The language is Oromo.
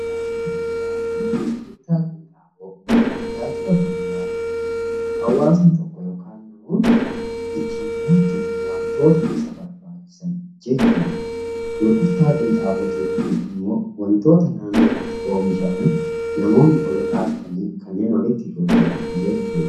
Tajaajila bu'uuraa jechuun hawwasni tokko yookaan namoonni ittiin jiraachuuf wantoota isa barbaachisan jechuudha. Gurgurtaa qinxaaboo jechuun immoo wantoota naannootti oomishaman namoonni walirraa bitanii kanneen walitti gurguran jechuudha.